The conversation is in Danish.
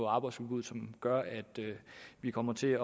arbejdsudbuddet som gør at vi kommer til